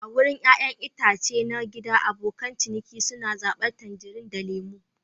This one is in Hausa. A wurin ƴaƴan itace na gida, abokan ciniki suna zabar tangerines da lemu.